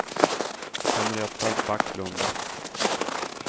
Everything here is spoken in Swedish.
Henrietta Backlund